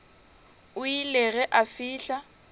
o ile ge a fihla